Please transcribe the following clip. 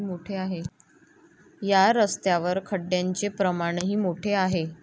या रस्त्यावर खड्ड्यांचे प्रमाणही मोठे आहे.